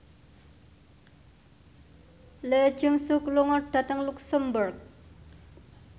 Lee Jeong Suk lunga dhateng luxemburg